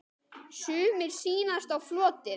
Sumir sýnast á floti.